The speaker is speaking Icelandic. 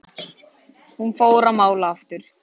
Hún fór að mála aftur.